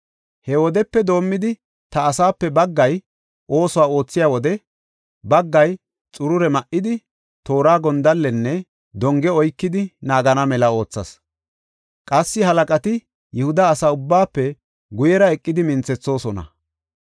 He wodepe doomidi ta asaape baggay oosuwa oothiya wode, baggay xurure ma7idi, toora, gondallenne donge oykidi naagana mela oothas. Qassi halaqati Yihuda asa ubbaafe guyera eqidi minthethoosona;